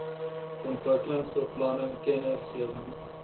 ontwikkelingsbeplanningkennisgewings